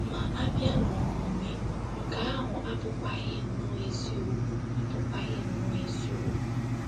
Ma, a bịa n’omume, nke ahụ abụkwaghị nnọọ eziokwu abụkwaghị nnọọ eziokwu.